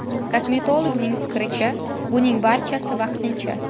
Kosmetologning fikricha, buning barchasi vaqtincha.